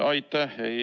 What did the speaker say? Aitäh!